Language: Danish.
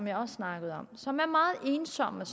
jeg også snakkede om og som er meget ensomme